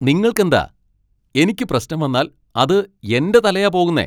നിങ്ങൾക്കെന്താ? എനിക്ക് പ്രശ്നം വന്നാൽ അത് എന്റെ തലയാ പോകുന്നെ.